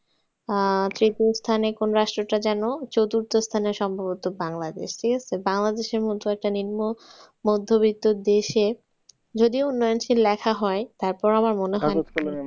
আহ তৃতীয় স্থানে কোন রাষ্ট্রটা যেন চতুর্থ স্থানে সম্ভবত বাংলাদেশ। ঠিক আছে। বাংলাদেশের মতো একটা নিম্ন মধ্যবিত্ত দেশে যদিও উন্নয়নশীল লেখা হয় তারপরও আমার মনে হয়